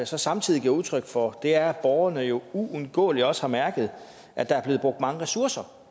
så samtidig giver udtryk for er at borgerne jo uundgåeligt også har mærket at der er blevet brugt mange ressourcer